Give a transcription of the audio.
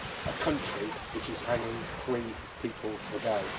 a country which is hanging three people a day.